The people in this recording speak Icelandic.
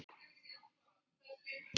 Hann fer aldrei úr ÍR.